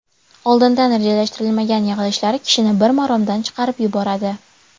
Oldindan rejalashtirilmagan yig‘ilishlar kishini bir maromdan chiqarib yuboradi.